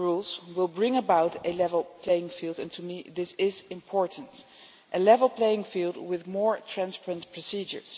rules will bring about a level playing field and to me this is important a level playing field with more transparent procedures.